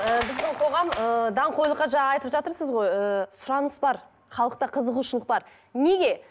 і біздің қоғам ыыы даңғойлыққа жаңа айтып жатырсыз ғой ыыы сұраныс бар халықта қызығушылық бар неге